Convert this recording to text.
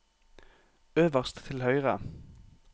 øverst til høyre